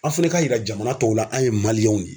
Aw fana ka yira jamana tɔw la an ye de ye.